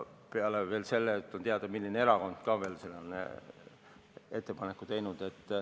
Peale selle on ka teada, milline erakond on selle ettepaneku teinud.